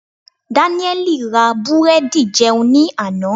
Danieli ra búrẹ́dì jẹun ní àná.